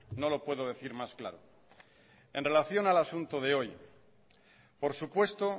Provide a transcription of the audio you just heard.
no lo puedo decir más claro en relación al asunto de hoy por supuesto